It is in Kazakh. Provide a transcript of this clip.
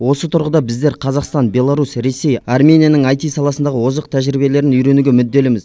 осы тұрғыда біздер қазақстан беларусь ресей арменияның аити саласындағы озық тәжірибелерін үйренуге мүдделіміз